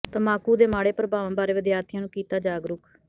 ਤੰਬਾਕੂ ਦੇ ਮਾੜੇ ਪ੍ਰਭਾਵਾਂ ਬਾਰੇ ਵਿਦਿਆਰਥੀਆ ਨੂੰ ਕੀਤਾ ਜਾਗਰੂਕ